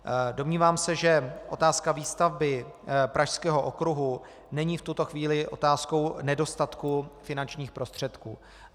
Domnívám se, že otázka výstavby Pražského okruhu není v tuto chvíli otázkou nedostatku finančních prostředků.